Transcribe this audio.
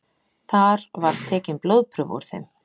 Þar var tekin blóðprufa úr þeim